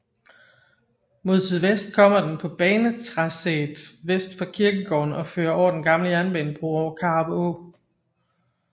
Mod sydvest kommer den på banetracéet vest for kirkegården og fører over den gamle jernbanebro over Karup Å